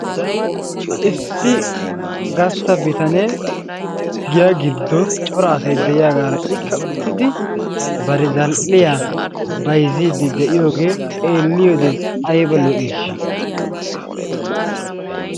Issi gastta bitanee giya giidon cora asay de'iyaagaara ikka uttidi bari zal"iyaa bayzziidi de'iyoogee xeelliyoode ayba lo"iishsha!